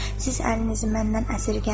“Siz əlinizi məndən əsirgəməyin.”